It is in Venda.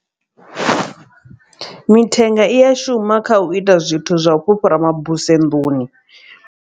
Mithenga i a shuma kha u ita zwithu zwa u fhufhara mabuse nḓuni.